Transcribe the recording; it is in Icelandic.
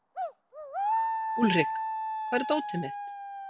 Úlrik, hvar er dótið mitt?